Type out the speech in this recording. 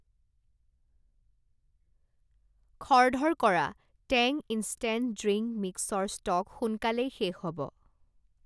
খৰধৰ কৰা, Tang instant drink mixer stock সোনকালেই শেষ হ'ব।